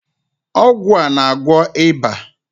Ọgwụ a na-agwọ ịba.